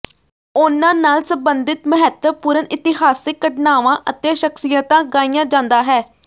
ਉਨ੍ਹਾਂ ਨਾਲ ਸਬੰਧਿਤ ਮਹੱਤਵਪੂਰਣ ਇਤਿਹਾਸਿਕ ਘਟਨਾਵਾਂ ਅਤੇ ਸ਼ਖਸੀਅਤਾਂ ਗਾਇਆ ਜਾਂਦਾ ਹੈ